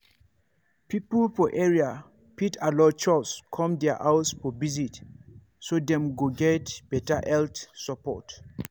people for area fit allow chws come their house for visit so dem go get better health support.